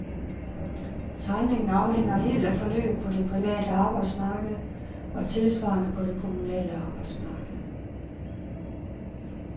Timingen afhænger helt af forløbet på det private arbejdsmarked og tilsvarende på det kommunale arbejdsmarked.